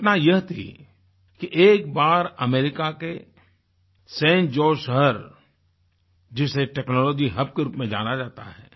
घटना यह थी कि एक बार अमेरिका के सान जोसे शहर जिसे टेक्नोलॉजी हब के रूप में जाना जाता है